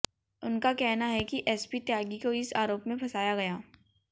उनका कहना है कि एसपी त्यागी को इस आरोप में फंसाया गया